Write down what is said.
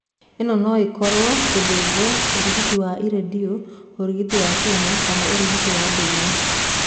Ino no ĩkoro gũthĩjo, ũrigiti wa iradiyo, ũrigiti wa chemo kana ũrigiti wa ndũire.